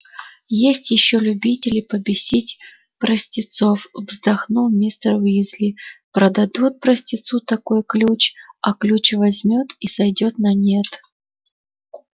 есть ещё любители побесить простецов вздохнул мистер уизли продадут простецу такой ключ а ключ возьмёт и сойдёт на нет